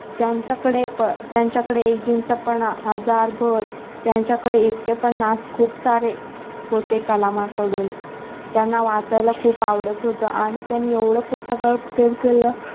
त्यांचा कडे त्यांच्याकडे एकजिनसीपणा हजार भरं त्यांचा कडे एकटेपणा खूप सारे होते कालामांकडून त्यांना वाचायला खूप आवडत होतं आणि त्यांनी एवढ पुस्तकावर प्रेम केल